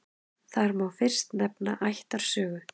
Þar má fyrst nefna ættarsögu.